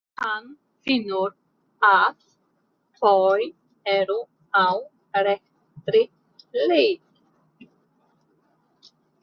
Hann finnur að þau eru á réttri leið.